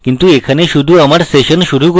কিন্তু এখানে শুধু আমার session শুরু করছি